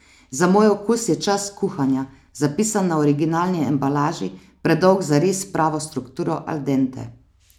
Za moj okus je čas kuhanja, zapisan na originalni embalaži, predolg za res pravo strukturo al dente.